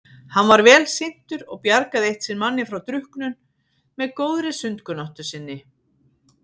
Hann var vel syntur og bjargaði eitt sinn manni frá drukknum með góðri sundkunnáttu sinni.